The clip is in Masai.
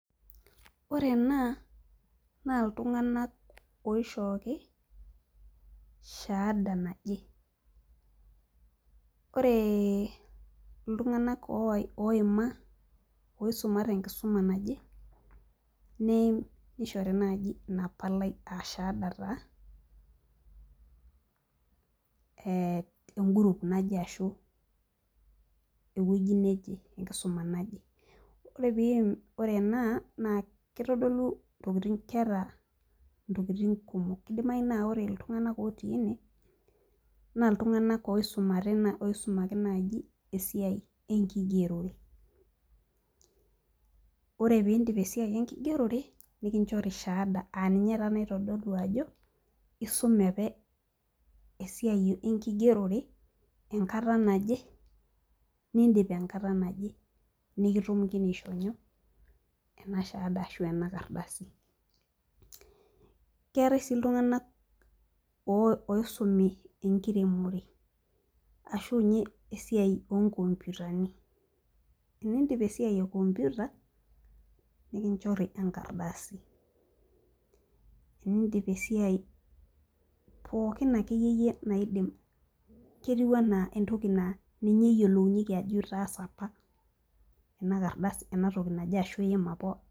Ore ena naa iltung'anak oishooki shaada naje ore iltung'anak owai oima tenkisuma naje neim nishori naaji ina palai aa shaada taa eh en group naje ashu ewueji neje enkisuma naje ore ena naa kitodolu intokitin keeta intokitin kumok kidimai naa ore iltung'anak otii ene naa iltung'anak oisumare oisumaki naaji esiai enkigerore ore pindip esiai enkigerore nikinchori shaada naa ninye aninye taa naitodolu ajo isume ape esiai enkigerore enkata naje nindip enkata naje nikitumokini aishoo nyoo ena shaada ashu ena kardasi keetae sii iltung'anak oh oisumi enkiremore ashu ninye esiai enkiremore ashunye esiai onkompiutani tenindip esiai e kompiuta nikinchori enkardasi enindipa esiai pookin akeyie yie naidim ketiu anaa entoki naa ninye eyiolounyieki ajo itaasa apa ena kardasi enatoki naje ashu iima apa.